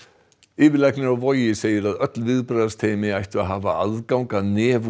yfirlæknir á Vogi segir að öll viðbragðsteymi ættu að hafa aðgang að